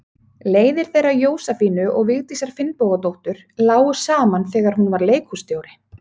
Leiðir þeirra Jósefínu og Vigdísar Finnbogadóttur lágu saman þegar hún var leikhússtjóri.